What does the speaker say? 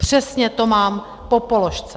Přesně to mám po položce!